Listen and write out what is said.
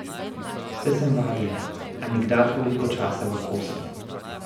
Saj sem vadila, a nikdar toliko časa v kosu.